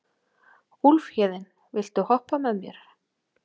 Úlfhéðinn, viltu hoppa með mér?